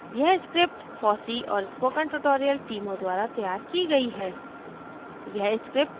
यह script fossee और spoken tutorial टीमों द्वारा तैयार की गयी है